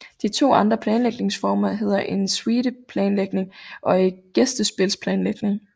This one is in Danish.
De to andre planlægningsformer hedder en suite planlægning og gæstespilsplanlægning